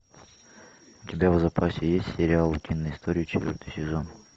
у тебя в запасе есть сериал утиные истории четвертый сезон